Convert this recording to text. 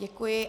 Děkuji.